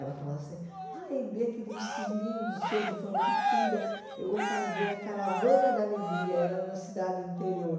Ela falava assim, ai, dê aquele vestido lindo seu de formatura, eu vou fazer a caravana da alegria, era na cidade interior.